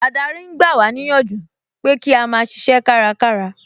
Adarí ń gba wá níyànjú pé kí a máa ṣiṣẹ́ kárakára